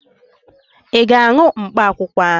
Ị ga-aṅụ mkpakwụkwọ ahụ?